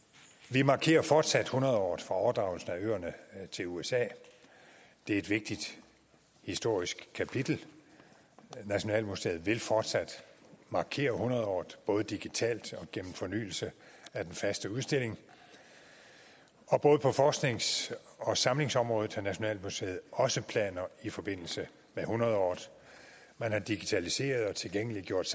vi markerer fortsat hundredåret for overdragelsen af øerne til usa det er et vigtigt historisk kapitel nationalmuseet vil fortsat markere hundredåret både digitalt og gennem fornyelse af den faste udstilling og både på forsknings og samlingsområdet har nationalmuseet også planer i forbindelse med hundredåret man har digitaliseret og tilgængeliggjort